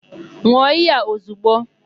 N̄ụọ iyi a ozigbo!